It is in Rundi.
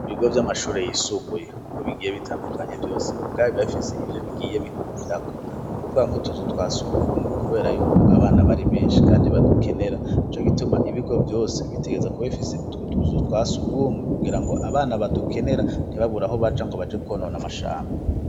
Ibigo vy'amashuri yisumbuye uko bigiye bitandukanye vyose mu bgabi bafise ibyo bigiye bihurirako nikuvuga nko tuzu twa sugumwe kubera yuko abana bari benshi kandi badukenera ico gituma ibigo byose bitegereza kuba ifise utwo tuzu twasugumwe kugira ngo abana badukenera ntibaburaaho baja ngo baje konona amashamba.